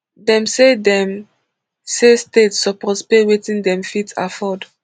dem say dem say states suppose pay wetin dem fit afford